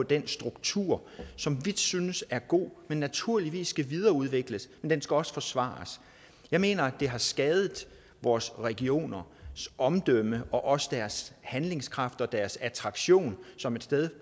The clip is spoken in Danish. den struktur som vi synes er god men som naturligvis skal videreudvikles men den skal også forsvares jeg mener det har skadet vores regioners omdømme og også deres handlekraft og deres attraktion som et sted